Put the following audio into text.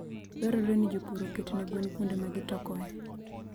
Dwarore ni jopur oket ne gwen kuonde ma gi tokoe.